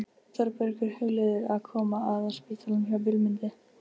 Þórbergur hugleiðir að koma að á spítalanum hjá Vilmundi.